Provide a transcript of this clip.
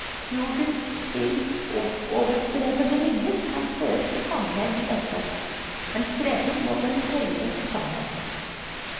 Jugendstilens oppoverstrebende linjer kan sees i sammenheng med dette, en streben mot en høyere sannhet.